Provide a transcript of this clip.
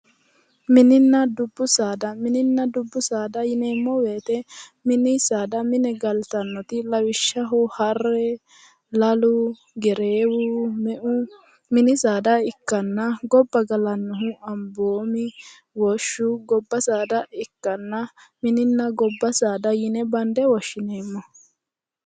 Mininna dubbu saada mininna dubbu saada yineemmo woyiite mini saada mine galtannote lawishshaho harre lalu gereewu me"u mini saada ikkanna gobba galannohu amboomi woshshu gobba saada ikkanna mininna gobbaa saada yine bande woshshineemmo